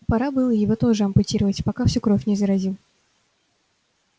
пора было его тоже ампутировать пока всю кровь не заразил